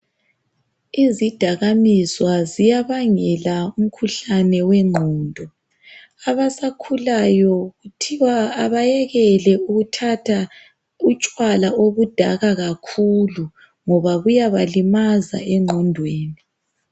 Izidakaminzwa ziyabangela umkhuhlane wegqondo. Abasakhulayo kuthiwa abayekele ukuthatha utshwala obudaka kakhulu ngoba buyabalimaza egqondweni.